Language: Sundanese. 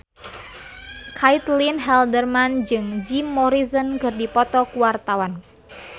Caitlin Halderman jeung Jim Morrison keur dipoto ku wartawan